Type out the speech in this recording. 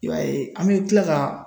I b'a ye an be kila ka